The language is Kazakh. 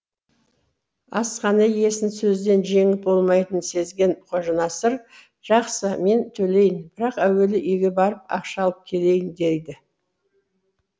асхана иесін сөзден жеңіп болмайтынын сезген қожанасыр жақсы мен төлейін бірақ әуелі үйге барып ақша алып келейін дейді